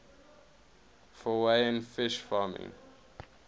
norwegian fish farming